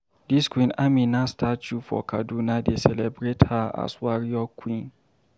Dis Queen Amina Statue for Kaduna dey celebrate her as warrior queen.